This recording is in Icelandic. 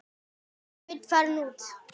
Sveinn farinn út?